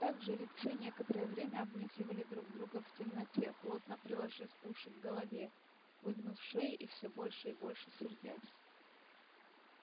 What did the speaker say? так жеребцы некоторое время обнюхивали друг друга в темноте плотно приложив уши к голове выгнув шеи и всё больше и больше сердясь